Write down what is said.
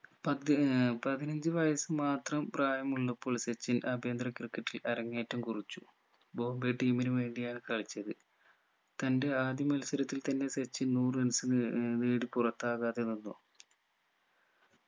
പതി ഏർ പതിനഞ്ചു വയസ്സ് മാത്രം പ്രായമുള്ളപ്പോൾ സച്ചിൻ ആഭ്യന്തര ക്രിക്കറ്റിൽ അരങ്ങേറ്റം കുറിച്ചു ബോംബെ team നു വേണ്ടിയാണ് കളിച്ചത് തന്റെ ആദ്യ മത്സരത്തിൽ തന്നെ സച്ചിൻ നൂറ് runs നെ ഏർ നേടി പുറത്താകാതെ നിന്നു